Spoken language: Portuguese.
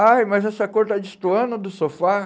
Ai, mas essa cor está destoando do sofá.